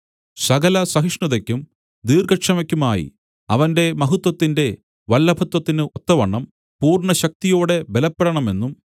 സകല സഹിഷ്ണതയ്ക്കും ദീർഘക്ഷമയ്ക്കുമായി അവന്റെ മഹത്വത്തിന്റെ വല്ലഭത്വത്തിന് ഒത്തവണ്ണം പൂർണ്ണശക്തിയോടെ ബലപ്പെടണമെന്നും